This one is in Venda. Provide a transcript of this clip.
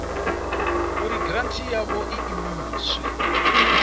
uri giranthi yavho i imiswe